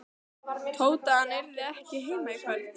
Tóta að hann yrði ekki heima í kvöld.